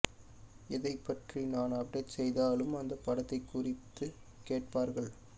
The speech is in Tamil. எதைபற்றி நான் அப்டேட் செய்தாலும் அந்த படம் குறித்து கேட்பார்கள்